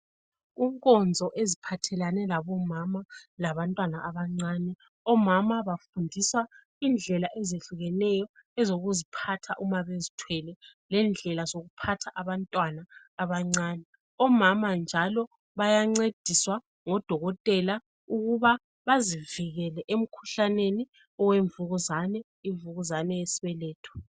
Kunkonzo eziphathelane labo mama labantwana abancane omama bafundiswa indlela ezehlukeneyo ezokuziphatha uma bezithwele lendlela zokuphatha abantwana abancane omama njalo bayancediswa ngodokotela ukuba bazivikele emkhuhlaneni yemvukuzane imvukuzane yesibeletho